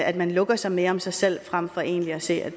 at man lukker sig mere om sig selv frem for egentlig at se